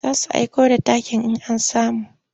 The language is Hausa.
Za su aiko da takin in an samu.